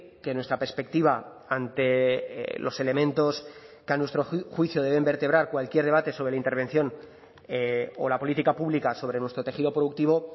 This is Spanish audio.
que nuestra perspectiva ante los elementos que a nuestro juicio deben vertebrar cualquier debate sobre la intervención o la política pública sobre nuestro tejido productivo